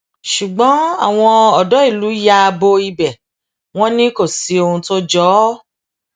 ṣùgbọn àwọn odò ìlú ya bo ibẹ wọn ni kò sí ohun tó jọ ọ